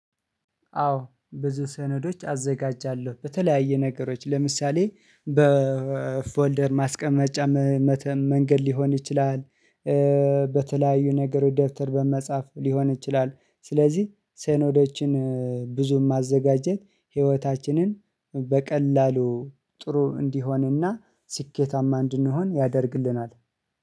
አዎ ብዙ ሰነዶች አዘጋጃለሁ በተለያየ ነገሮች ለምሳሌ በፎልደር ማስቀመጫ መንገድ ሊሆን ይችላል። በተለያዩ ነገር ደብተር በመጻፍ ሊሆን ይችላል። ስለዚህ ሰነዶችን ብዙም ማዘጋጀት ህይወታችንን በቀላሉ ጥሩ እንዲሆንና ስኬታማ እንድንሆን ያደርግልናል